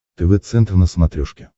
тв центр на смотрешке